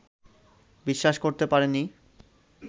বিশ্বাস করতে পারিনি